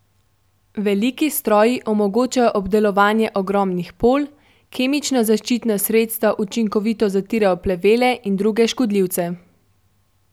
Veliki stroji omogočajo obdelovanje ogromnih polj, kemična zaščitna sredstva učinkovito zatirajo plevele in druge škodljivce.